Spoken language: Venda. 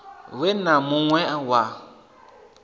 we na mun we wa